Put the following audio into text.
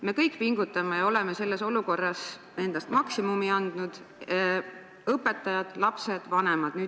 Me kõik pingutame ja oleme andnud selles olukorras endast maksimumi – õpetajad, lapsed ja vanemad.